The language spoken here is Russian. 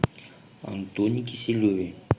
антоне киселеве